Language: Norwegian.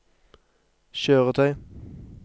kjøretøy